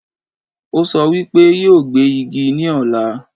Ó sọ wípé yóò gbé Igi ní ọ̀la